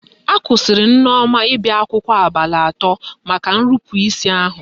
Akwụsịrị Nneoma ịbịa akwụkwọ abalị atọ maka nrupu isi ahụ